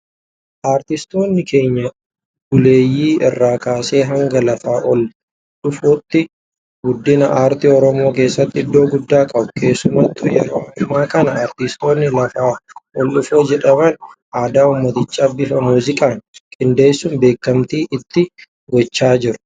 Artistoonni keenya buleeyyii irraa kaasee hanga lafaa ol dhufootti guddina aartii Oromoo keessatti iddoo guddaa qabu. Keessumattuu yeroo ammaa kana artistoonni lafaa ol dhufoo jedhaman aadaa uummatichaa bifa muuziqaan qindeessuun beekamtii itti gochaa jiru.